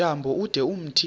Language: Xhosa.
tyambo ude umthi